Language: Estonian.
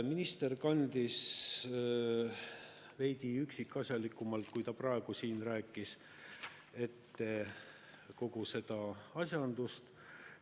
Minister kandis veidi üksikasjalikumalt, kui ta praegu siin rääkis, ette kogu seda asjandust.